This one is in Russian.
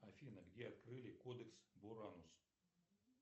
афина где открыли кодекс буранос